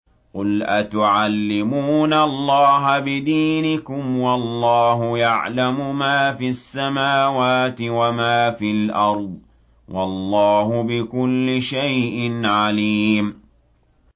قُلْ أَتُعَلِّمُونَ اللَّهَ بِدِينِكُمْ وَاللَّهُ يَعْلَمُ مَا فِي السَّمَاوَاتِ وَمَا فِي الْأَرْضِ ۚ وَاللَّهُ بِكُلِّ شَيْءٍ عَلِيمٌ